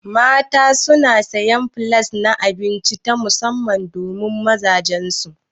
Mata suna sayan flas na abinci ta musamman domin mazajan su.